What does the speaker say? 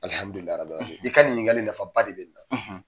i ka nin ɲininkali nafa ba de bɛ ni na.